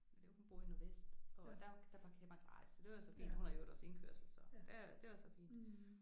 Men øh hun bor i Nordvest og der der parkerer bare gratis så det er så fint hun har i øvrigt også indkørsel så det var så fint